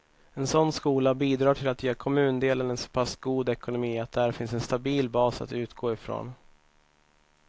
En sådan skola bidrar till att ge kommundelen en så pass god ekonomi att där finns en stabil bas att utgå ifrån.